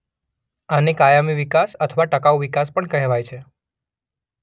આને કાયમી વિકાસ અથવા ટકાઉ વિકાસ પણ કહેવાય છે.